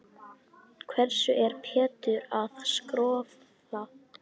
Hverju er Pétur að skrökva?